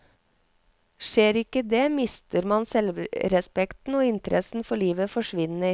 Skjer ikke det mister man selvrespekten og interessen for livet forsvinner.